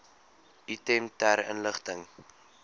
item ter inligting